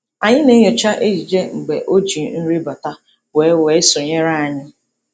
Anyị na-enyocha ejije mgbe o ji nri bata wee wee sonyere anyị.